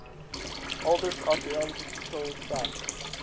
oldest archeological site